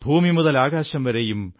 ഭൂമിമുതലാകാശം വരെയും